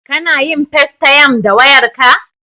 Kana yin festayam da wayarka?